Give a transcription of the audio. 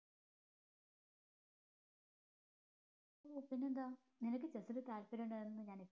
ഓ പിന്നെന്താ നിനക്ക് chess ല് താല്പര്യം ഉണ്ടായിരുന്നു എന്നത് ഞാന്